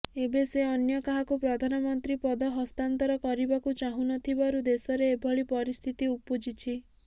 ଏବେ ସେ ଅନ୍ୟ କାହାକୁ ପ୍ରଧାନମନ୍ତ୍ରୀ ପଦ ହସ୍ତାନ୍ତର କରିବାକୁ ଚାହୁଁ ନଥିବାରୁ ଦେଶରେ ଏଭଳି ପରିସ୍ଥିତି ଉପୁଜିଛି